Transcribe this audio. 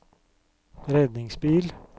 redningsbil